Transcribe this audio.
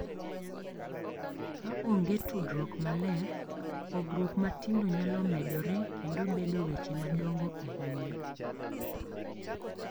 Ka onge tudruok maler, pogruok matindo nyalo medore kendo bedo weche madongo ahinya,